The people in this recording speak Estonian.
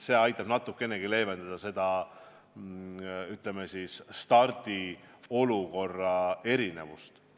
See aitaks natukenegi leevendada seda, ütleme, stardiolukorra erinevust.